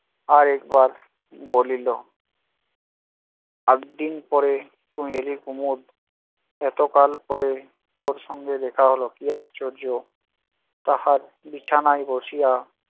আরেকবার বলিল এতদিন পরে তুই এলি কুমদ! এতকাল পরে তোর সঙ্গে দেখা হলো, কী আশ্চর্য! তাহার বিছানায় বসিয়া